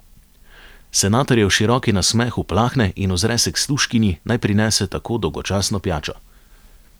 Senatorjev široki nasmeh uplahne in ozre se k služkinji, naj prinese tako dolgočasno pijačo.